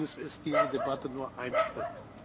Allerdings ist diese Debatte nur ein Schritt.